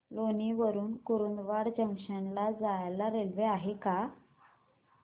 लोणी वरून कुर्डुवाडी जंक्शन ला जायला रेल्वे आहे का